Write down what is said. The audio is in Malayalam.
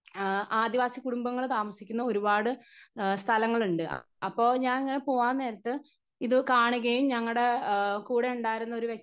സ്പീക്കർ 1 ആ ആദിവാസി കുടുംബങ്ങള് താമസിക്കുന്ന ഒരുപാട് അഎ സ്ഥലങ്ങളുണ്ട് അപ്പൊ ഞാങ്ങനെ പോവാനേരത്ത് ഇത് കാണുകയും ഞങ്ങടെ ആ കൂടെ ഉണ്ടാരുന്ന ഒരു വ്യക്തി.